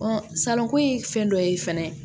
salɔnko ye fɛn dɔ ye fɛnɛ